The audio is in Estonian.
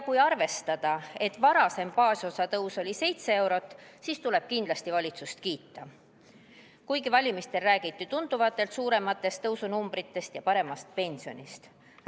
Kui arvestada, et varasem baasosa tõus oli 7 eurot, siis tuleb kindlasti valitsust kiita, kuigi valimistel räägiti tunduvalt suurematest numbritest ja paremast pensionist.